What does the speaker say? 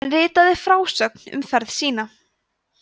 hann ritaði frásögn um ferð sína